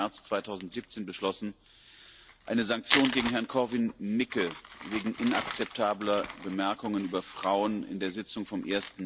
14. März 2017 beschlossen, eine Sanktion gegen Herrn Korwin Mikke wegen inakzeptabler Bemerkungen über Frauen in der Sitzung vom